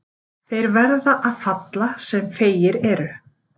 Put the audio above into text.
Þeir verða að falla sem feigir eru.